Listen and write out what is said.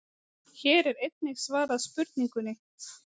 Hér er einnig svarað spurningunni: